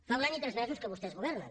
fa un any i tres mesos que vostès governen